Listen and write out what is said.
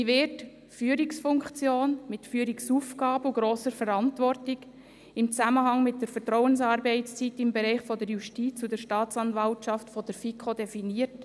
Wie wird die Führungsfunktion mit Führungsaufgaben und grosser Verantwortung im Zusammenhang mit der Vertrauensarbeitszeit im Bereich der Justiz und der Staatsanwaltschaft von der FiKo definiert?